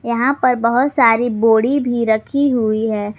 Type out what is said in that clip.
यहां पर बहुत सारी बोड़ी भी रखी हुई है।